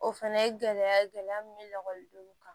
O fɛnɛ ye gɛlɛya gɛlɛya min bɛ nɔgɔ don olu kan